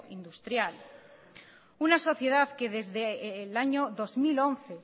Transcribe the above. industrial una sociedad que desde el año dos mil once